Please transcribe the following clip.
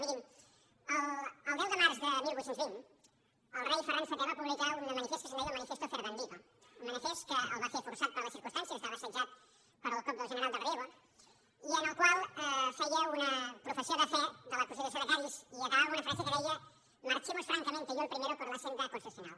mirin el deu de març de divuit vint el rei ferran vii va publicar un manifest que se’n deia el manifiesto fernandino un manifest que el va fer forçat per les circumstàncies estava assetjat pel cop del general del riego i en el qual feia una professió de fe de la constitució de cadis i acabava amb una frase que deia marchemos francamente yo el primero por la senda constitucional